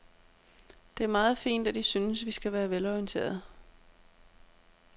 Det er meget fint, at I synes, vi skal være velorienterede.